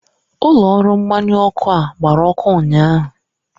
Ụlọ ọrụ mgbanyụ ọkụ a gbara ọkụ ụnyaahụ.